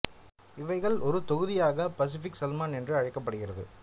இவைகள் ஒரு தொகுதியாக பசிபிக் சல்மான் என்று அழைக்கப் படுகிறது